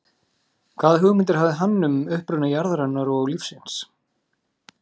Hvaða hugmyndir hafði hann um uppruna jarðarinnar og lífsins?